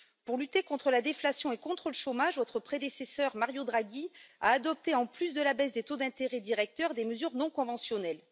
Pour lutter contre la déflation et le chômage, votre prédécesseur, Mario Draghi, a adopté, en plus de la baisse des taux d'intérêt directeurs, des mesures non conventionnelles.